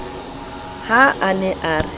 ha a ne a re